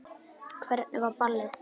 Hvernig var ballið?